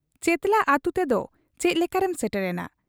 ᱪᱮᱛᱞᱟ ᱟᱹᱛᱩ ᱛᱮᱫᱚ ᱪᱮᱫ ᱞᱮᱠᱟᱨᱮᱢ ᱥᱮᱴᱮᱨ ᱮᱱᱟ ?